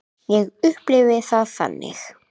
Ég upplifi það þannig.